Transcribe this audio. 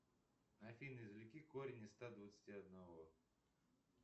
афина извлеки корень из ста двадцати одного